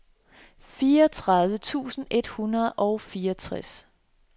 fireogtredive tusind et hundrede og fireogtres